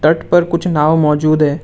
तट पर कुछ नाव मौजूद है।